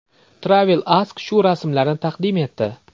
Travel Ask shu rasmlarni taqdim etdi.